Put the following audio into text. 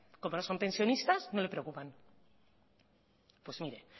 como no son pensionistas no le preocupan pues mire